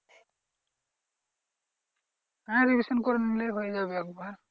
হ্যাঁ revision করে নিলেই হয়ে যাবে একবার।